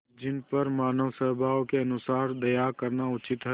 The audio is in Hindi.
जिन पर मानवस्वभाव के अनुसार दया करना उचित है